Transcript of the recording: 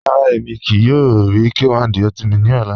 Rárá, ẹ̀mi kíí yòò rí K1 De Ultimate ni ọ̀là